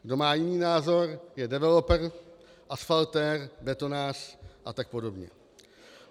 Kdo má jiný názor, je developer, asfaltér, betonář a tak podobně.